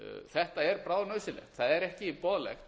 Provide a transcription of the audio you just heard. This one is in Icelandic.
þetta er bráðnauðsynlegt það er ekki boðlegt